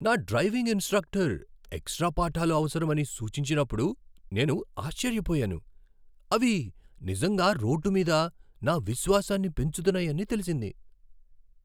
నా driving instructor extra పాఠాలు అవసరమని సూచించినప్పుడు నేను ఆశ్చర్యపోయాను. అవి నిజంగా రోడ్డు మీద నా విశ్వాసాన్ని పెంచుతున్నాయని తెలిసింది.